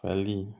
Fali